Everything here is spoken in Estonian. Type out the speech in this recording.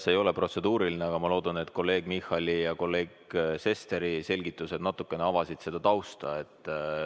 See ei ole protseduuriline küsimus, aga ma arvan, et kolleeg Michali ja kolleeg Sesteri selgitused natukene avasid tausta.